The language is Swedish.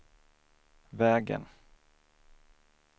vägen